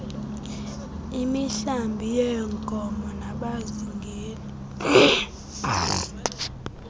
imihlambi yeenkomo nabazingeli